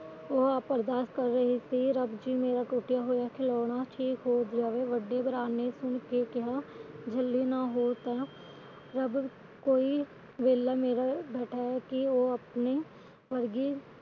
ਉਹ ਅਰਦਾਸ ਕਰ ਰਹੀ ਸੀ ਰੱਬ ਜੀ ਮੇਰਾ ਟੁਟਿਆ ਹੋਇਆ ਖਿਲੌਣਾ ਠੀਕ ਹੋ ਜਾਵੇ ਵੱਡੇ ਭਰਾ ਨੇ ਕਿਹਾ ਝੱਲੀ ਨਾ ਹੋ ਤਾ ਕਿ ਰੱਬ ਕੋਈ ਵਿਹਲਾ ਬੈਠਾ ਹੈ ਕਿ ਉਹ ਆਪਣੇ ਬਰਗੇ